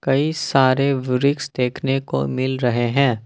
कई सारे वृक्ष देखने को मिल रहे हैं।